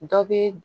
Dɔ bɛ